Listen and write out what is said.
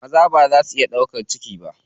Maza baza su iya ɗaukan ciki ba.